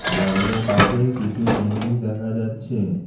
দেওয়ালের তাকে কিছু জিনিস দেখা যাচ্ছে।